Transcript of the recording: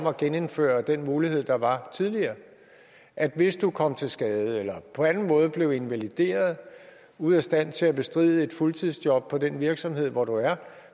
at genindføre den mulighed der var tidligere at hvis du kom til skade eller på anden måde blev invalideret ude af stand til at bestride et fuldtidsjob på den virksomhed hvor du er